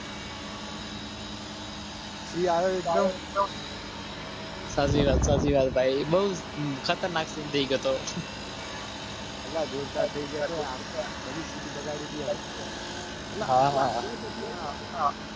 એસાચી વાત ભાઈઅલા જોરદારહા હા